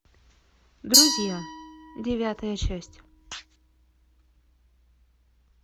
друзья девятая часть